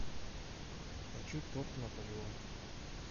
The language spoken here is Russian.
хочу торт наполеон